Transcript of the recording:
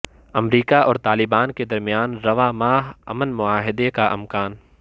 امریکہ اور طالبان کے درمیان رواں ماہ امن معاہدے کا امکان